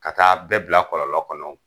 Ka taa bɛɛ bila kɔlɔlɔ kɔnɔ